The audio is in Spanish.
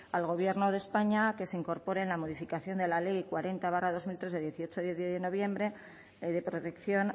al gobierno de españa a que se incorpore en la modificación de la ley cuarenta barra dos mil tres de dieciocho de noviembre de protección